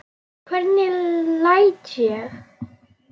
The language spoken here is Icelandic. Hvernig læt ég!